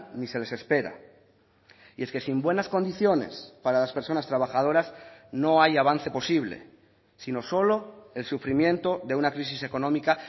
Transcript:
ni se les espera y es que sin buenas condiciones para las personas trabajadoras no hay avance posible sino solo el sufrimiento de una crisis económica